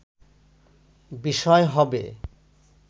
বিষয় হবে”